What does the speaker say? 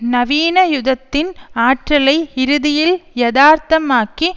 நவீன யுகத்தின் ஆற்றலை இறுதியில் யாதார்த்தமாக்கி